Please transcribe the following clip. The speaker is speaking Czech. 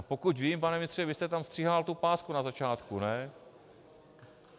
A pokud vím, pane ministře, vy jste tam stříhal tu pásku na začátku, ne?